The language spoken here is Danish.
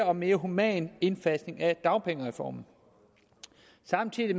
og mere human indfasning af dagpengereformen samtidig